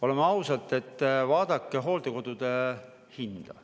Oleme ausad, vaadake hooldekodu hinda!